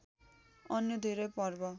अन्य धेरै पर्व